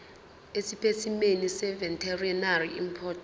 esipesimeni seveterinary import